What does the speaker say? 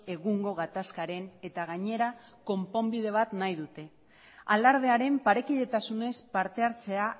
egungo gatazkaren eta gainera konponbide bat nahi dute alardearen parekidetasunez parte hartzea